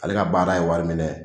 Ale ka baara ye wari minɛ ye.